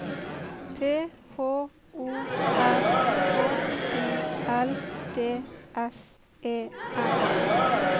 T H O R K I L D S E N